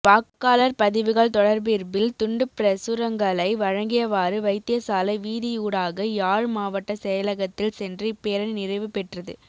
வாக்காளர் பதிவுகள் தொடர்பிர்பில் துண்டுப்பிரசுரங்களை வழங்கியவாறு வைத்தியசாலை வீதியூடாக யாழ் மவாட்ட செயலகத்தில் சென்று இப்பேரணி நிறைவு பெற்றது